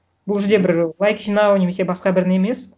бұл жерде бір лайк жинау немесе басқа бір не емес